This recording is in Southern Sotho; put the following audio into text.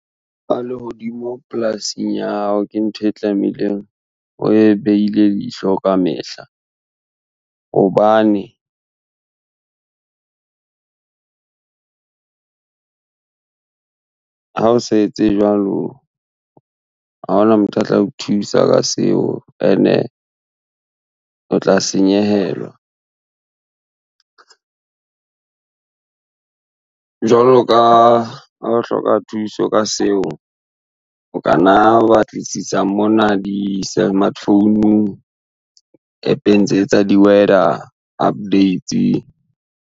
Lehodimo polasing ya hao, ke ntho e tlamehileng we behile leihlo ka mehla. Hobane ha o sa etse jwalo, ha hona motho a tla o thusa ka seo ene o tla senyehelwa jwalo ka ha o hloka thuso ka seo, o kanna wa batlisisa mona di-smartphone-ng, app-eng tse tsa di-weather updates.